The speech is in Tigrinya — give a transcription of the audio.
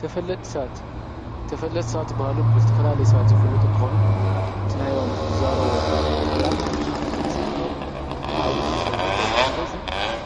ተፈለጥቲ ሰባት-ተፈለጥቲ ሰባት ዝበሃሉ ብልተፈላለየ ሰባት ዝፍለጡ እንተኾኑ እቲ ናዮም ዝዛረብዎ ቃላት ወይ ኸዓ ድምፂ ዓብዪ ሓይሊ ኣለዎ፡፡ ስለዙይ